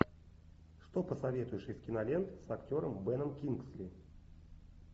что посоветуешь из кинолент с актером беном кингсли